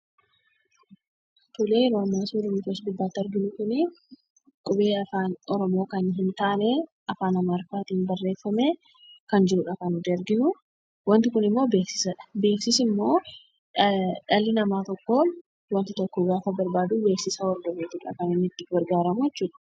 Qubeen nuti suura gubbaa kanarratti arginu kuni qubee Afaan Oromoo hin taane, Afaan Amaariffaatiin barreeffamee kan jirudha kan nuti arginu. Waanti kun immoo beeksisadha. Beeksisni immoo dhalli namaa tokko, waanta tokko gaafa barbaadu beeksisa hordofeetudha kan inni itti gargaamu jechuudha.